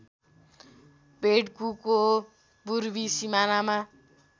पेड्कुको पूर्वी सिमानामा